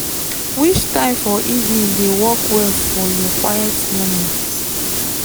which time for evening dey work well for your quiet moments?